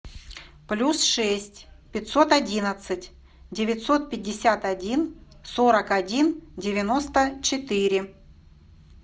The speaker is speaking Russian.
плюс шесть пятьсот одиннадцать девятьсот пятьдесят один сорок один девяносто четыре